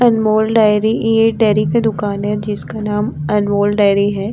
अनमोल dairy ये एक dairy की दुकान है जिसका नाम अनमोल डेरी है।